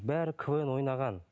бәрі квн ойнаған